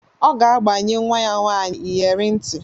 Ọ ga-agbanye nwa ya nwaanyị iyere ntị.